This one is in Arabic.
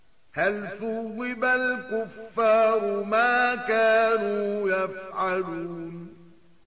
هَلْ ثُوِّبَ الْكُفَّارُ مَا كَانُوا يَفْعَلُونَ